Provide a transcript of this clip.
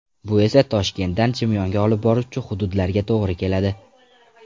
Bu esa Toshkentdan Chimyonga olib boruvchi hududlarga to‘g‘ri keladi.